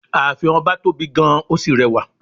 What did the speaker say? Ààfin ọba tóbi gan-an ó sì rẹwà.